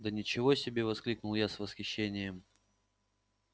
да ничего себе воскликнул я с восхищением